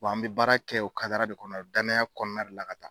an bɛ baara kɛ o kadara de kɔnɔ, danaya kɔnɔna de la ka taa.